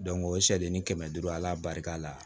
o sari ni kɛmɛ duuru ala barika la